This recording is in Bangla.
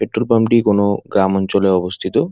পেট্রোল পাম্প টি কোনো গ্রাম অঞ্চলে অবস্থিত।